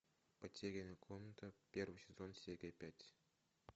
потерянная комната первый сезон серия пять